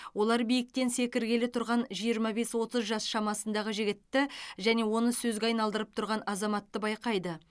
олар биіктен секіргелі тұрған жиырма бес отыз жас шамасындағы жігітті және оны сөзге айналдырып тұрған азаматты байқайды